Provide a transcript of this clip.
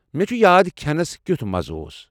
مےٚ چھ یاد کھٮ۪نس کیُوتھ مزٕ اوس ۔